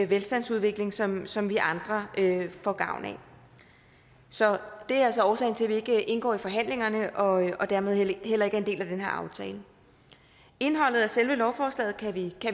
velstandsudvikling som som vi andre får gavn af så det er altså årsagen til at vi ikke indgår i forhandlingerne og dermed heller ikke er en del af den her aftale indholdet af selve lovforslaget kan vi